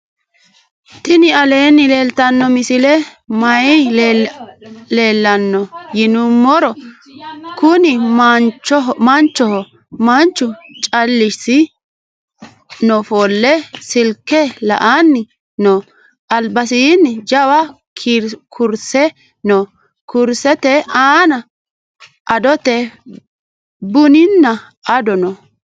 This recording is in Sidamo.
tini aleni leltano misileni maayi leelano yinnumoro. kuuni maanchoho .manchu calichisi nofole sillke la"ani noo. albasini jawa kurse noo. kursete anna adoote bunina addo noo.